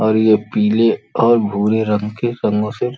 और ये पीले और भूरे रंग के रंगों से --